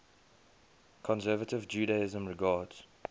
conservative judaism regards